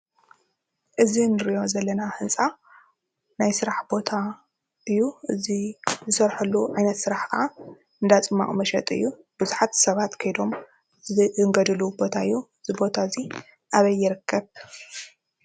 እዚ ንሪኦ ዘለና ህንፃ ናይ ስራሕ ቦታ እዩ። እዚ ንሰርሐሉ ዓይነት ስራሕ ኸዓ 'ዳ ፅሟቅ መሸጢ እዩ። ብዙሓት ሰባት ከይዶም ዝእንገድሉ ቦታ እዩ። እዚ ቦታ እዚ አበይ ይርከብ?